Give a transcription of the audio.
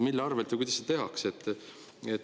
Mille arvelt või kuidas seda tehakse?